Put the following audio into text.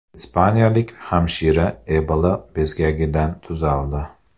Ispaniyalik hamshira Ebola bezgagidan tuzaldi.